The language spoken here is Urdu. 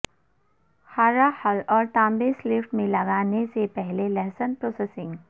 ھارا حل اور تانبے سلفیٹ میں لگانے سے پہلے لہسن پروسیسنگ